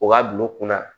O ka bil'o kunna